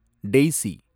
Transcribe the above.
Daisy